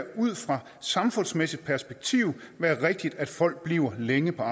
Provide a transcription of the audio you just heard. ud fra et samfundsmæssigt perspektiv være rigtigt at folk bliver længere